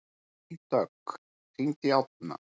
Vígdögg, hringdu í Árna.